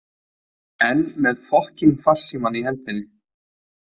Enn með fokkíng farsímann í hendinni.